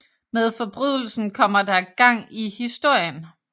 Med forbrydelsen kommer der gang i historien